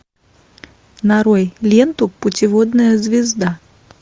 нарой ленту путеводная звезда